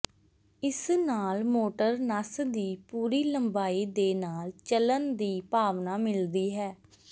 ਇਸ ਨਾਲ ਮੋਟਰ ਨਸ ਦੀ ਪੂਰੀ ਲੰਬਾਈ ਦੇ ਨਾਲ ਚਲਣ ਦੀ ਭਾਵਨਾ ਮਿਲਦੀ ਹੈ